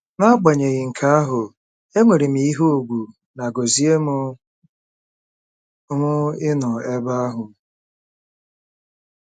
N'agbanyeghị nke ahụ, enwere m ihe ùgwù na gọzie m m ịnọ ebe ahụ.